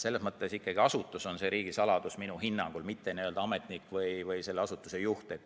Selles mõttes ikkagi asutus on riigisaladus minu hinnangul, mitte ametnik, selle asutuse juht.